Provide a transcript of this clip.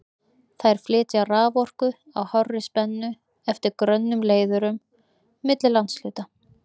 Þær flytja raforku á hárri spennu eftir grönnum leiðurum milli landshluta.